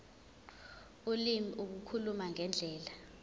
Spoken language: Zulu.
ulimi ukukhuluma ngendlela